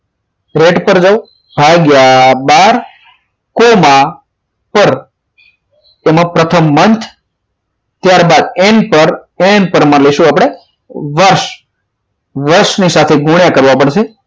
red પર જાવ ભાગ્યા બાર કોમા પર એમાં પ્રથમ month ત્યારબાદ n પર એમ પર આપણે માનીશું વર્ષ વર્ષની સાથે ગુણ્યા કરવા પડશે